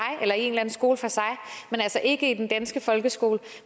og altså ikke i den danske folkeskole